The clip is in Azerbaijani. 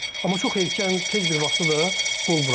Amma çox erkən tez bir vaxtı da qol buraxır.